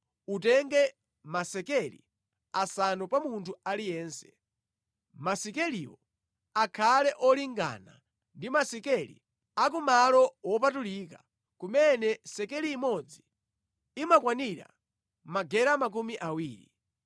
utenge masekeli asanu pa munthu aliyense. Masekeliwo akhale ofanana ndi masekeli a ku malo wopatulika, kumene sekeli imodzi imakwanira magera makumi awiri.